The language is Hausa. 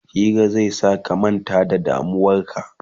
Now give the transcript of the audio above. Hira zai sa ka manta da damuwarka